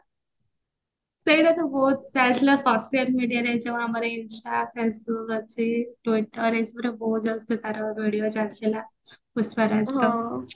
ସେଇଟା ତ ବହୁତ ଚାଲିଥିଲା social mediaରେ ଯୋଉ ଆମର ଏଇ INSTA facebook ଅଛି twitter ଏଇସବୁରେ ବହୁତ ଜୋରସେ ତାର video ଚାଲିଥିଲା ପୁଷ୍ପା ରାଜଟା